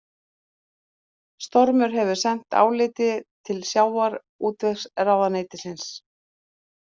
Stormur hefur sent álitið til sjávarútvegsráðuneytisins